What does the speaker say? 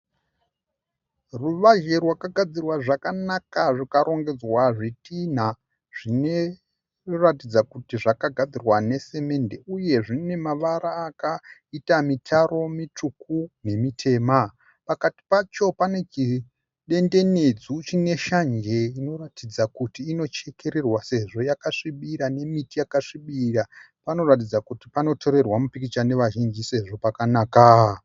Ruvazhe rwakagadzirwa zvakanaka rwukarongedzwa zvitinha zvinoratidza kuti zvakagadzirwa nasimende uye zvine mavara akaita mitaro mitsvuku nemitema. Pakati pacho pane chidendenedzu chine shanje inoratidza kuti inochekererwa sezvo yakasvibira nemiti yakasvibira. Panoratidza kuti panotorerwa mipikicha nevazhinji sezvo pakanaka.